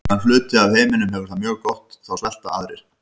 Á meðan hluti af heiminum hefur það mjög gott þá svelta aðrir.